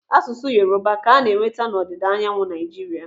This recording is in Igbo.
Asụsụ Yoruba ka ana-enweta n'ọdịda anyanwụ Naijiria.